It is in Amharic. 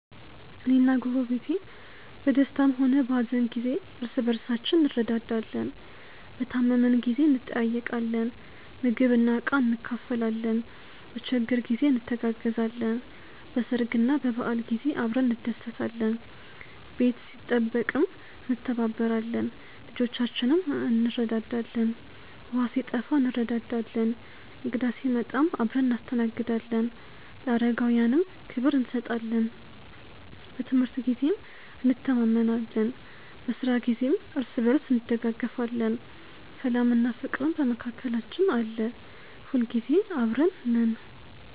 እኔና ጎረቤቴ በደስታም ሆነ በሀዘን ጊዜ እርስ በርሳችን እንረዳዳለን። በታመምን ጊዜ እንጠያየቃለን፣ ምግብና ዕቃ እንካፈላለን፣ በችግር ጊዜ እንተጋገዛለን፣ በሰርግና በበዓል ጊዜ አብረን እንደሰታለን። ቤት ሲጠበቅም እንተባበራለን፣ ልጆቻችንንም እንረዳዳለን። ውሃ ሲጠፋ እንረዳዳለን፣ እንግዳ ሲመጣም አብረን እናስተናግዳለን፣ ለአረጋውያንም ክብር እንሰጣለን። በትምህርት ጊዜም እንተማመናለን፣ በስራ ጊዜም እርስ በርስ እንደጋገፋለን። ሰላምና ፍቅርም በመካከላችን አለ። ሁልጊዜ አብረን ነን።።